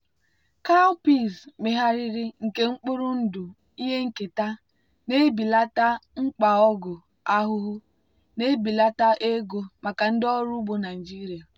cowpeas megharịrị nke mkpụrụ ndụ ihe nketa na-ebelata mkpa ọgwụ ahụhụ na-ebelata ego maka ndị ọrụ ugbo naijiria.